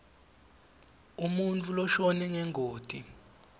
umuntfu loshone ngengoti